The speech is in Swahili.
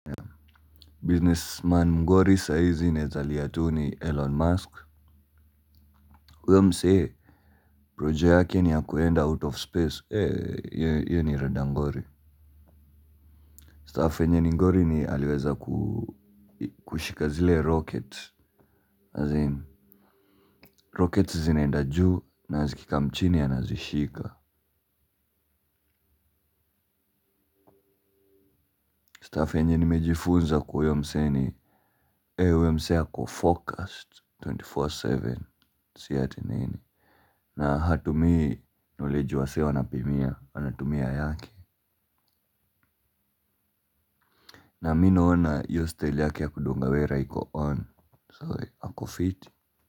Businessman mngori saa hizi naeza lia tu ni Elon Musk huyo msee projo yake ni ya kuenda out of space hiyo ni rada ngori Staff enye ni ngori ni aliweza kushika zile rocket. Nazini, rocket zinaenda juu na zikikam chini anazishika Staff enye nimejifunza kwa uyo mzee ni eee, uyo mzee ako focused 24x7. Sieti nini. Na hatumii knowledge wazee wanapimia. Anatumia yake. Na minaona iyo style yake ya kudungawera. Iko on So, ako fiti.